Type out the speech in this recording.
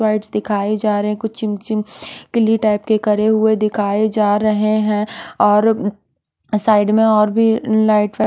whites दिखाए जा रहे हैं कुछ चिमचिम कि ली टाइप के करे हुए दिखाए जा रहे हैं और साइड में और भी लाइट वाइट--